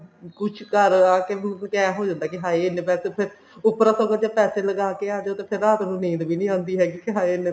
ਕੁੱਛ ਘਰ ਆਕੇ ਕੁੱਛ ਐ ਹੋ ਜਾਂਦਾ ਕਿ ਹਾਏ ਇੰਨੇ ਪੈਸੇ ਉੱਪਰੋ ਆਪਾਂ ਪੈਸੇ ਲਗਾ ਕੇ ਆਂਦੇ ਹਾਂ ਤੇ ਫੇਰ ਰਾਤ ਨੂੰ ਨੀਂਦ ਵੀ ਨੀ ਆਉਂਦੀ ਹੈਗੀ ਕਿ ਹਾਏ ਇੰਨੇ